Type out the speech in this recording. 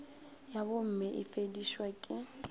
ya bomme e befedišwa ke